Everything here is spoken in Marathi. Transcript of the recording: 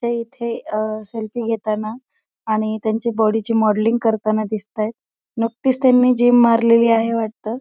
हे इथे अह सेल्फी घेताना आणि त्यांची बॉडी ची मॉडलिंग करताना दिसताहेत. नुकतीच त्यांनी जिम मारलेली आहे वाटतं.